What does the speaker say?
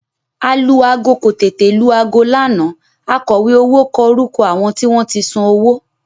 Alu-aago kò tètè lu aago lánàá akọ̀wé owó kọ orúkọ àwọn tí wọ́n san owó